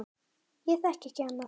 Ég þekki ekki annað.